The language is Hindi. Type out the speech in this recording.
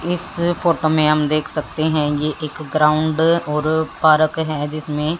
इस फोटो में हम देख सकते हैं ये एक ग्राउंड और पार्क है जिसमें--